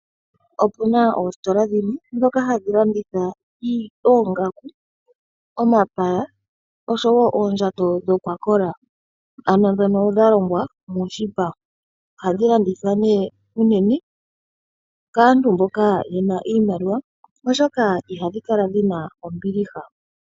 Opu na oositola dhimwe ndhoka hadhi landitha oongaku, omapaya oshowo oondjato ano ndhono dha longwa moshipa oha dhi landithwa nee unene kaantu mboka ye na iimaliwa oshoka iha dhi kala dhi na ombiliha.